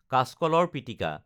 কাচকলৰ পিটিকা